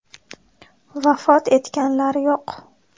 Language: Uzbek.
Vafot etganlar yo‘q.